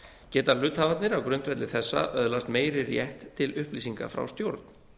geta hluthafarnir á grundvelli þessa öðlast meiri rétt til upplýsinga frá stjórn